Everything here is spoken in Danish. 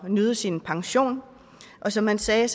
at nyde sin pension og som han sagde